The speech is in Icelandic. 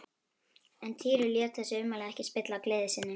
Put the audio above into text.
En Týri lét þessi ummæli ekki spilla gleði sinni.